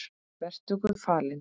Vertu Guði falin.